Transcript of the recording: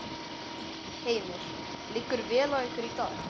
Heimir: Liggur vel á ykkur í dag?